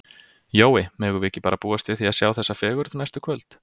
Jói, megum við ekki bara búast við því að sjá þessa fegurð næstu kvöld?